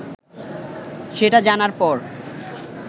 সেটা জানার পর